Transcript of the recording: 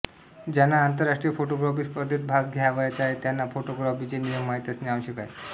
ज्यांना आंतरराष्ट्रीय फोटोग्राफी स्पर्धेत भाग घ्यावयाचा आहे त्यांना फोटोग्राफीचे नियम माहीत असणे आवश्यक आहे